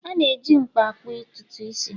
A na-eji mkpa akpụ ntutu isi